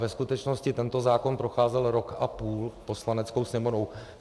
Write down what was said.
Ve skutečnosti tento zákon procházel rok a půl Poslaneckou sněmovnou.